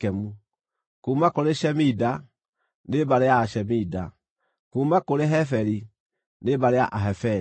kuuma kũrĩ Shemida, nĩ mbarĩ ya Ashemida; kuuma kũrĩ Heferi, nĩ mbarĩ ya Aheferi.